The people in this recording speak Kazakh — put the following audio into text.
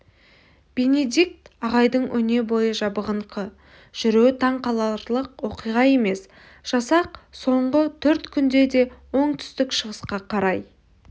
бенедикт ағайдың өнебойы жабығыңқы жүруі таң қаларлық оқиға емес жасақ соңғы төрт күнді де оңтүстік-шығысқа қарай